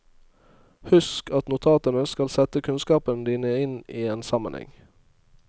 Husk at notatene skal sette kunnskapene dine inn i en sammenheng.